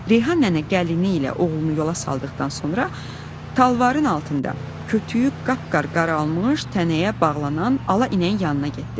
Reyhan nənə gəlini ilə oğlunu yola saldıqdan sonra talvarın altında kötüklüyü qapqaraalmış tənəyə bağlanan ala inəyin yanına getdi.